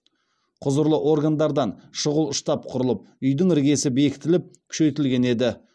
құзырлы органдардан шұғыл штаб құрылып үйдің іргесі бекітіліп күшейтілген еді